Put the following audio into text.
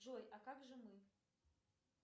джой а как же мы